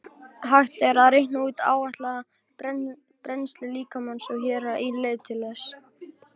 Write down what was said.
Hægt er að reikna út áætlaða brennslu líkamans og hér er ein leið til þess.